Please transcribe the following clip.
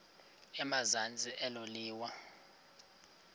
emazantsi elo liwa